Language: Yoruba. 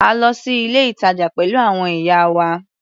A lọ sí ilé-ìtàjà pẹ̀lú àwọn ìyá wa.